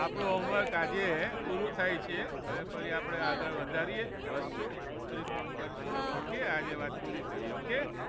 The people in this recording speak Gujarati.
આપણું home work આજે પૂરું થાય છે. હવે ફરી આપણે આગળ વધારીએ વધશું પછી ફોન કરીશું okay આજે વાત પુરી કરીએ okay